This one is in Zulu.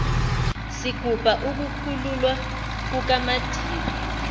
sigubha ukukhululwa kukamadiba